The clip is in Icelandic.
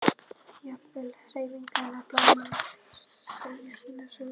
Jafnvel hreyfingar blaðanna segja sína sögu.